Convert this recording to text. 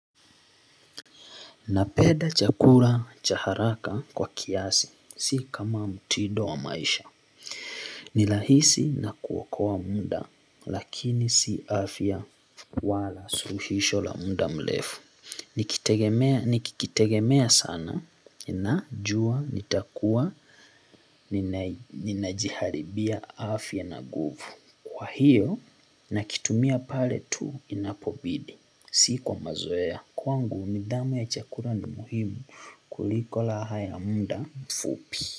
Napenda chakula cha haraka kwa kiasi, si kama mtindo wa maisha. Nirahisi na kuokoa muda, lakini si afya wala suluhisho la muda mrefu. Nikitegemea sana, najua nitakua ninajiharibia afya na nguvu. Kwa hiyo, nakitumia pale tu inapobidi, si kwa mazoea. Kwangu nidhamu ya chakula ni muhimu kuliko raha ya muda mfupi.